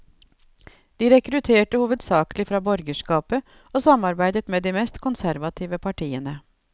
De rekrutterte hovedsaklig fra borgerskapet og samarbeidet med de mest konservative partiene.